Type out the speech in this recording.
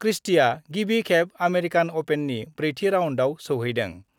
क्रिस्टिआ गिबि खेब आमेरिकान अपेननि ब्रैथि राउन्डआव सौहैदों।